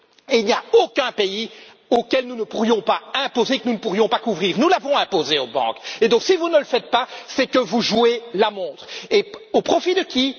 Et il n'y a aucun pays auquel nous ne pourrions pas l'imposer, que nous ne pourrions pas englober. Nous l'avons imposé aux banques et donc, si vous ne le faites pas, c'est que vous jouez la montre, mais au profit de qui?